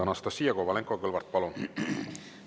Anastassia Kovalenko-Kõlvart, palun!